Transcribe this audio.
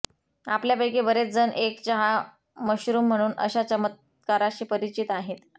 आपल्यापैकी बरेच जण एक चहा मशरूम म्हणून अशा चमत्काराशी परिचित आहेत